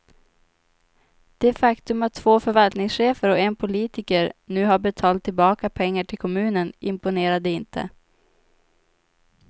Det faktum att två förvaltningschefer och en politiker nu har betalt tillbaka pengar till kommunen imponerade inte.